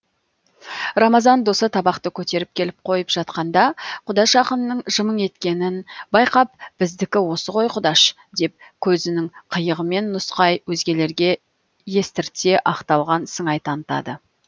рамазан досы табақты көтеріп келіп қойып жатқанда құдаш ақынның жымың еткенін байқап біздікі осы ғой құдаш деп көзінің қиығымен нұсқай өзгелерге естірте ақталған сыңай танытады